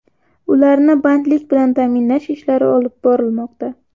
Ularni bandlik bilan ta’minlash ishlari olib borilmoqda.